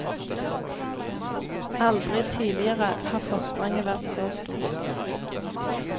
Aldri tidligere har forspranget vært så stort.